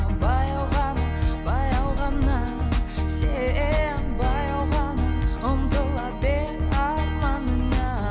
баяу ғана баяу ғана сен баяу ғана ұмтыла арманыңа